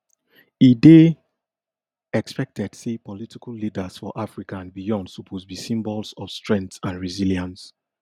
e dey expected say political leaders for africa and beyond suppose be symbols of strength and resilience